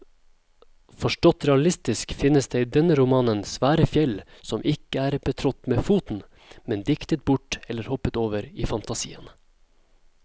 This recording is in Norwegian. Forstått realistisk finnes det i denne romanen svære fjell som ikke er betrådt med foten, men diktet bort eller hoppet over i fantasien.